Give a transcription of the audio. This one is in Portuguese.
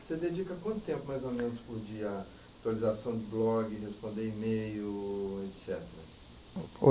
Você dedica quanto tempo, mais ou menos, por dia à atualização de blog, responder e-mail, etc?